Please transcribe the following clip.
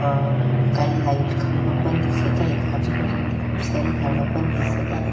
अम काही लाइट खंबा पण दिसत आहेत आजूबाजूनी खुप सारे झाडं पण दिसत आहेत.